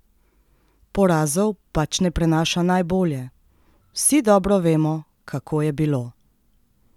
Porazov pač ne prenaša najbolje: "Vsi dobro vemo, kako je bilo.